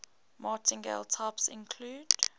martingale types include